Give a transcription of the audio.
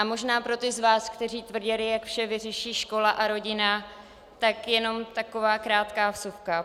A možná pro ty z vás, kteří tvrdili, jak vše vyřeší škola a rodina, tak jenom taková krátká vsuvka.